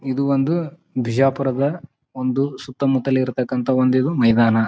ಇದು ಒಂದು ಬಿಜಾಪುರದ ಒಂದು ಸುತ್ತಮುತ್ತಲ ಇರತ್ತಕ್ಕಂತಹ ಒಂದು ಇದು ಮೈದಾನ.